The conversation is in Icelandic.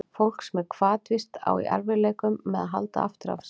Fólk sem er hvatvíst á í erfiðleikum með að halda aftur af sér.